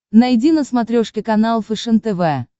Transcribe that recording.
найди на смотрешке канал фэшен тв